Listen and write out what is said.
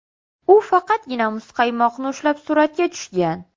U faqatgina muzqaymoqni ushlab suratga tushgan.